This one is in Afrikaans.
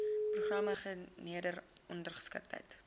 programme gender ongeskiktheid